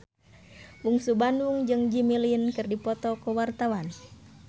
Bungsu Bandung jeung Jimmy Lin keur dipoto ku wartawan